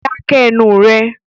Dá ké ẹnu rẹ!